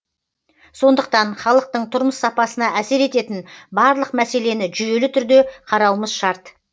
сондықтан халықтың тұрмыс сапасына әсер ететін барлық мәселені жүйелі түрде қарауымыз шарт